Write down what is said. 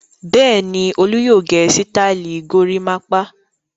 Bẹ́ẹ̀ ni, Olú yóò gẹ sítáálì gorímápá.